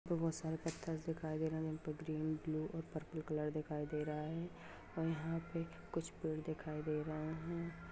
तो बहुत सारे पत्थर दिखाई दे रहे है यहां पे ग्रीन ब्लू और पर्पल कलर दिखाई दे रहा है और यहां पे कुछ पेड़ दिखाई दे रहे है।